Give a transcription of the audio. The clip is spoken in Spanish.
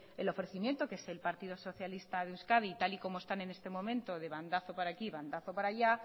el ofrecimiento que es el partido socialista de euskadi tal y como están en este momento de bandazo para aquí bandazo para allá